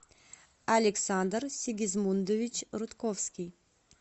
александр сигизмундович рудковский